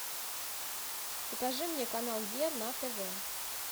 покажи мне канал е на тв